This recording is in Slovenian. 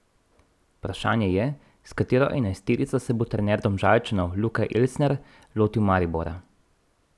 Vprašanje je, s katero enajsterico se bo trener Domžalčanov Luka Elsner lotil Maribora.